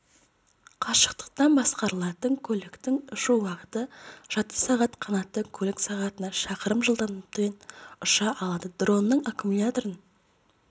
қашықтан басқарылатын көліктің ұшу уақыты жарты сағат қанатты көлік сағатына шақырым жылдамдықпен ұша алады дронның аккумуляторын